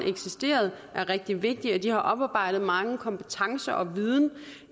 er rigtig vigtige og de har oparbejdet mange kompetencer og